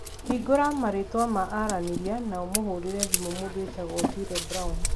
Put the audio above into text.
Hingũra marĩtwa ma aranĩria na ũmũhũrĩre thimũ mũndũ wĩtagwo Otile Brown